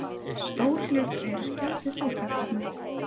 Stór hluti öryrkja við fátæktarmörk